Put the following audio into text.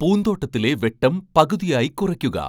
പൂന്തോട്ടത്തിലെ വെട്ടം പകുതിയായി കുറയ്ക്കുക